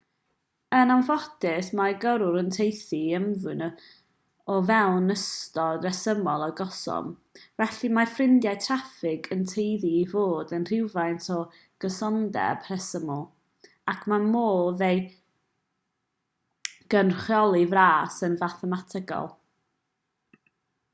yn ffodus mae gyrwyr yn tueddu i ymddwyn o fewn ystod resymol o gyson felly mae ffrydiau traffig yn tueddu i fod â rhywfaint o gysondeb rhesymol ac mae modd ei gynrychioli'n fras yn fathemategol